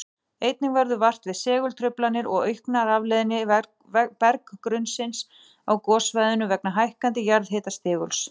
Einnig verður vart við segultruflanir og aukna rafleiðni berggrunnsins á gossvæðinu vegna hækkandi jarðhitastiguls.